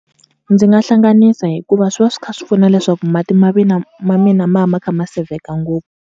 Ndzi nga hlanganisa hikuva swi va swi kha swi pfuna leswaku mati ma ma mina ma va ma kha ma sevheka ngopfu.